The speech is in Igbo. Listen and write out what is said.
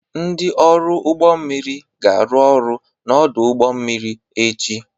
Ndị ọrụ ụgbọ mmiri ga-arụ ọrụ n'ọdụ ụgbọ mmiri echi.